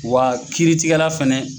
Wa kiiri tigɛ la fɛnɛ